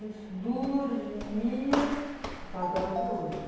Ele dormia, que eu falo, dorme até hoje, né?